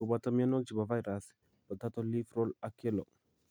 kobooto myanwogik che po vairas: potato leaf roll ak yellow